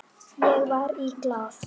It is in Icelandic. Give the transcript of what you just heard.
Ég var í Glað.